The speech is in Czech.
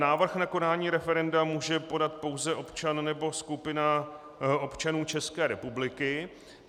Návrh na konání referenda může podat pouze občan nebo skupina občanů České republiky.